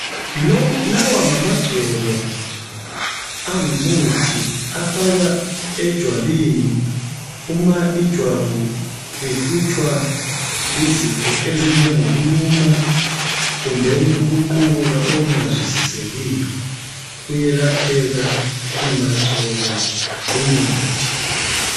Lawa ngamagcobo angumuthi afakwa ejwabini, uma ijwabu lihlutshwa yizifo ezinjengokuluma kumbeni ukuqubuka okungazwisisekiyo. Uyelapheka ungagcoba lumuthi.